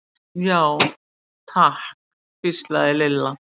Já, takk hvíslaði Lilla.